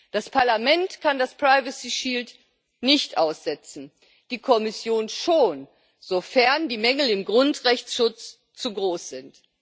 Das Parlament kann den privacy shield nicht aussetzen, die Kommission schon, sofern die Mängel im Grundrechtsschutz zu groß sind.